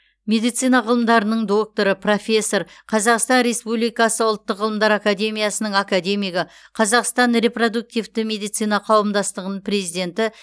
медицина ғылымдарының докторы профессор қазақстан республикасы ұлттық ғылымдар академиясының академигі қазақстан репродуктивті медицина қауымдастығының президенті